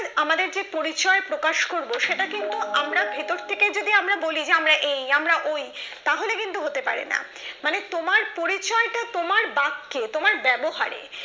আমাদের যে পরিচয় প্রকাশ করবো সেটা কিন্তু আমরা ভেতর থেকে যদি আমরা বলি আমরা এই আমরা ওই তাহলে কিন্তু হতে পারে না মানে তোমার পরিচয়টা তোমার বাক্যে তোমার ব্যবহারে